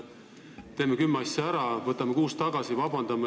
Teeme kümme asja ära ja võtame kuus neist tagasi, paludes vabandust.